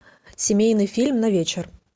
семейный фильм на вечер